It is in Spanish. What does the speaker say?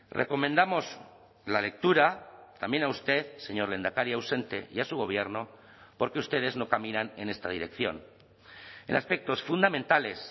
recomendamos la lectura también a usted señor lehendakari ausente y a su gobierno porque ustedes no caminan en esta dirección en aspectos fundamentales